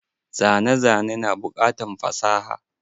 Zane zane na bukatan fasaha.